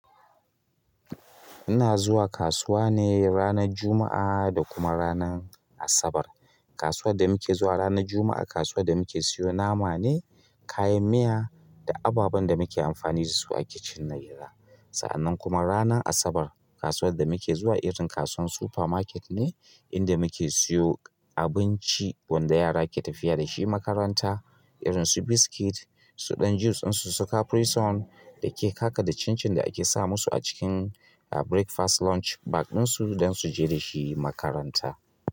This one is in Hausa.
Ina zuwa kasuwa ne ranar Juma'a da kuma ranar Asabar. Kasuwar da muke zuwa ranar Juma'a, kasuwar da muke siyo nama ne, kayan miya da ababen da muke amfani da su a kicin na gida. Sa'annan kuma ranar Asabar, kasuwar da muke zuwa irin kasuwar supermarket ne inda muke siyo abinci wanda yara ke tafiya da shi makaranta. Irin su biskit, su dan juice ɗin su, su caprison da cincin da ake sa masu a cikin breakfast lunch bag ɗin su don su kai makaranta.